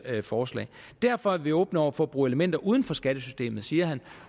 forslag derfor er vi åbne over for at bruge elementer uden for skattesystemet siger han